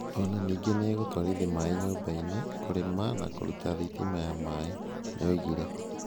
O na ningĩ nĩ ĩgũtwarithia maaĩ nyũmba-inĩ, kũrĩma na kũruta thitima ya maaĩ". Nĩyoigire.